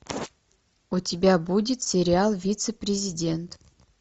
у тебя будет сериал вице президент